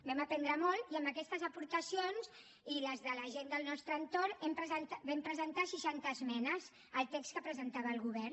vam aprendre molt i amb aquestes aportacions i les de la gent del nostre entorn vam presentar seixanta esmenes al text que presentava el govern